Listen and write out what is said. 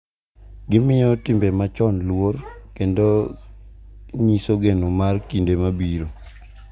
Gimiyo timbe machon luor, kendo nyiso geno mar kinde mabiro.